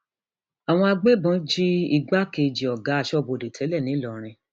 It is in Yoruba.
àwọn agbébọn jí igbákejì ọgá aṣọbodè tẹlẹ ńlọrọrìn